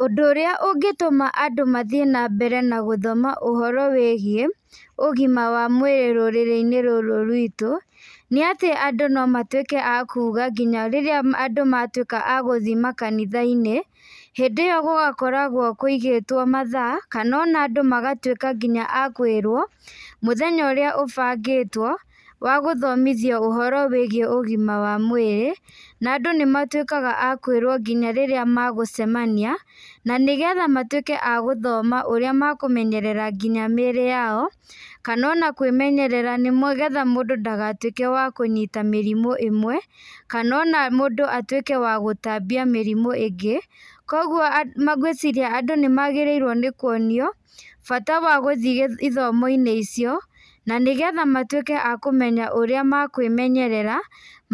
Ũndũ ũrĩa ũngĩtũma andũ mathiĩ na mbere na gũthoma ũhoro wĩgiĩ, ũgima wa mwĩrĩ rũrĩrĩ-inĩ rũrũ rwitũ, nĩ atĩ andũ no matuĩke a kuuga nginya rĩrĩa andũ matuĩka a gũthi makanitha-inĩ, hĩndĩ ĩyo gũgakoragwo kũigĩtwo mathaa, kana ona andũ magatuĩka nginya a kũĩrwo, mũthenya ũrĩa ũbangĩtwo, wa gũthomithio ũhoro wĩgiĩ ũgima wa mwĩrĩ, na andũ nĩ matuĩkaga a kũĩrwo nginya rĩrĩa magũcemania, na nĩgetha matuĩke a gũthoma ũrĩa makũmenyerera nginya mĩĩrĩ yao, kana ona kwĩmenyerera nĩgetha mũndũ ndagatuĩke wa kũnyita mĩrimũ ĩmwe, kana ona mũndũ atuĩke wa gũtambia mĩrĩmũ ĩngĩ. Kũguo ngwĩciria andũ nĩ magĩrĩirwo nĩ kuonio, bata wa gũthi ithomo-inĩ icio, na nĩgetha matuĩke a kũmenya ũrĩa makwĩmenyerera,